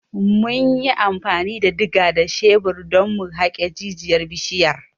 Mun yi amfani da diga da shebir don mu haƙe jijiyar bishiyar.